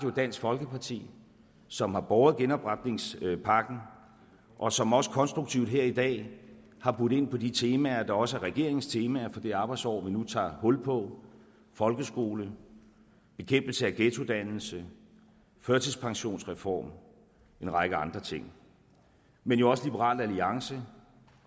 dansk folkeparti som har båret genopretningspakken og som også konstruktivt her i dag har budt ind på de temaer der også er regeringens temaer for det arbejdsår vi nu tager hul på folkeskole bekæmpelse af ghettodannelse førtidspensionsreform og en række andre ting men også liberal alliance